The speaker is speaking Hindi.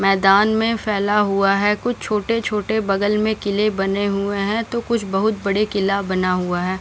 मैदान में फैला हुआ है कुछ छोटे छोटे बगल में किले बने हुए है तो कुछ बहुत बडे किला बना हुआ है।